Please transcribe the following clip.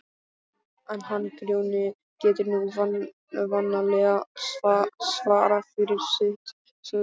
En hann Grjóni getur nú vanalega svarað fyrir sitt, sagði